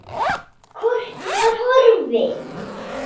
Kortið var horfið!